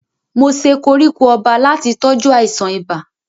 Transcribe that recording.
Mo se koríko ọba láti tọ́jú àìsàn ibà.